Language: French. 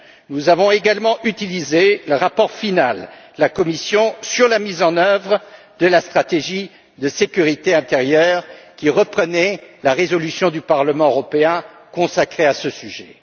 Nous avons également utilisé le rapport final de la Commission sur la mise en œuvre de la stratégie sur la sécurité intérieure, qui reprenait la résolution du Parlement européen consacrée à ce sujet.